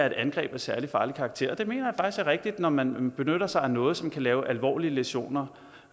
et angreb af særlig farlig karakter det mener er rigtigt når man benytter sig af noget som kan lave alvorlige læsioner